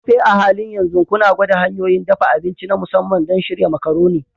Tope, a halin yanzu kuna gwada hanyoyin dafa abinci na musamman don shirya Macaroni?